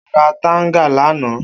O ra tanga lana